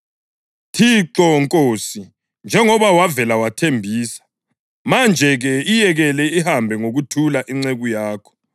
“Thixo, Nkosi, njengoba wavele wathembisa, manje-ke iyekele ihambe ngokuthula inceku yakho.